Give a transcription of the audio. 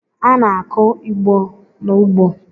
A na-akụ Igbo n’ugbo